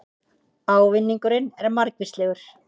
Ávinningurinn er margvíslegur